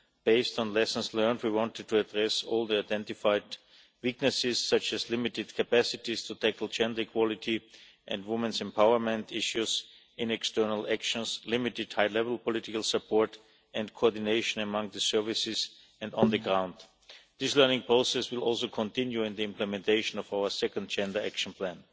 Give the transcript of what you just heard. Based on lessons learned, we wanted to address all the identified weaknesses, such as limited capacities to tackle gender equality and women's empowerment issues in external actions, limited high level political support and coordination among the services and on the ground. This learning process will also continue in the implementation of our second Gender Action Plan.